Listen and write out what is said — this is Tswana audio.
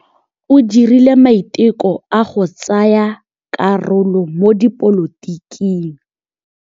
O dirile maitekô a go tsaya karolo mo dipolotiking.